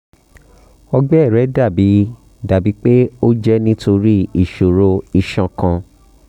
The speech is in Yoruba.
ọgbẹ rẹ dabi dabi pe o jẹ nitori iṣoro iṣan kan